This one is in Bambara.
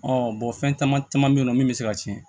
fɛn caman caman be yen nɔ min be se ka cɛn